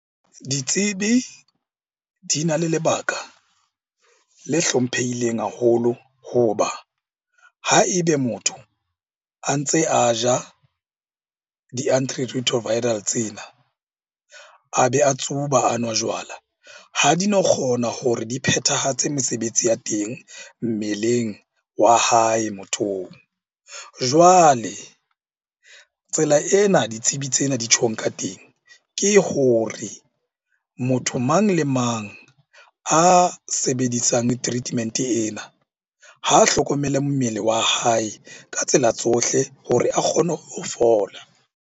Ditsebi di na le lebaka le hlomphehileng haholo, hoba ha ebe motho a ntse a ja di-antiretroviral tsena a be a tsuba a nwa jwala. Ha di no kgona hore di phethahatse mesebetsi ya teng mmeleng wa hae mothong. Jwale tsela ena ditsebi tsena di tjhong ka teng ke hore motho mang le mang a sebedisang treatment-e ena, ha a hlokomele mmele wa hae ka tsela tsohle hore a kgone ho fola.